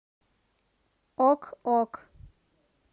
ок ок